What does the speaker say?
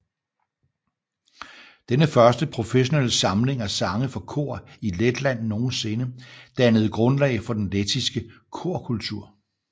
Denne første professionelle samling af sange for kor i Letland nogensinde dannede grundlaget for den lettiske korkultur